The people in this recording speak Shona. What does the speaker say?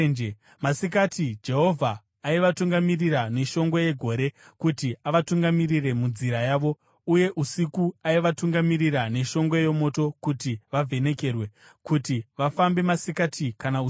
Masikati Jehovha aivatungamirira neshongwe yegore kuti avatungamirire munzira yavo uye usiku aivatungamirira neshongwe yomoto kuti vavhenekerwe, kuti vafambe masikati kana usiku.